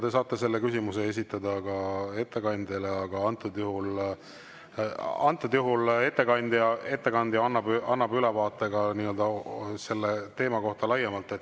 Te saate selle küsimuse esitada ka ettekandjale, aga antud juhul ettekandja annab ülevaadet ka selle teema kohta laiemalt.